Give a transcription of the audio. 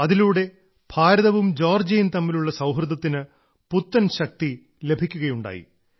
അതിലൂടെ ഭാരതവും ജോർജിയയും തമ്മിലുള്ള സൌഹൃദത്തിന് പുത്തൻ ശക്തി ലഭിക്കുകയുണ്ടായി